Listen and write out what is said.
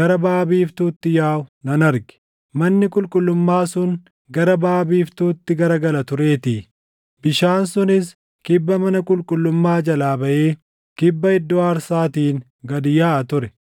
gara baʼa biiftuutti yaaʼu nan arge; manni qulqullummaa sun gara baʼa biiftuutti garagala tureetii. Bishaan sunis kibba mana qulqullummaa jalaa baʼee kibba iddoo aarsaatiin gad yaaʼa ture.